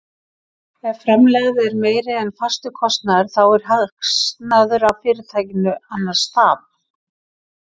Ef framlegð er meiri en fastur kostnaður þá er hagnaður af fyrirtækinu, annars tap.